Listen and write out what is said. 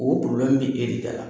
O bɛ kɛ e de dala